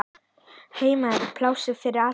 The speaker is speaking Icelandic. Heima er pláss fyrir alla.